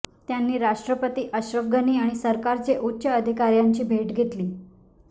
त्यांनी राष्ट्रपती अशरफ गनी आणि सरकारचे उच्च अधिकाऱ्यांची भेट घेतली